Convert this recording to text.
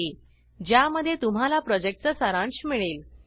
httpspoken tutorialorgWhat is a Spoken Tutorial ज्यामध्ये तुम्हाला प्रॉजेक्टचा सारांश मिळेल